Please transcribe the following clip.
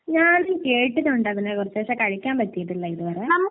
ഞാൻ കേട്ടിട്ടുണ്ട് അതിനെ കുറിച്ച്. പക്ഷേ കഴിക്കാൻ പറ്റിയിട്ടില്ല ഇത് വരെ.